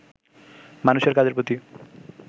মানুষের কাজের প্রতি